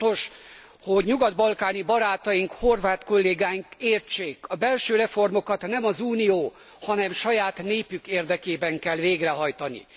Fontos, hogy nyugat balkáni barátaink, horvát kollégáink értsék a belső reformokat nem az Unió, hanem saját népük érdekében kell végrehajtani.